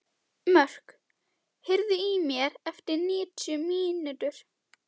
Mörk, heyrðu í mér eftir níutíu mínútur.